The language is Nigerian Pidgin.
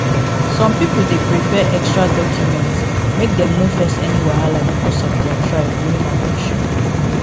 some people dey prepare extra documents make dem no face any wahala because of their tribe during admission